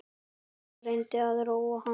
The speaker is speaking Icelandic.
Ég reyni að róa hana.